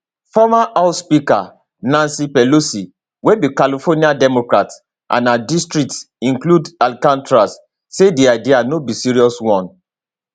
former house speaker nancy pelosi wey be california democrat and her district include alcatraz say di idea no be serious one